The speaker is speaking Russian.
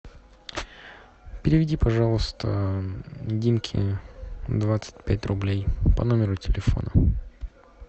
переведи пожалуйста димке двадцать пять рублей по номеру телефона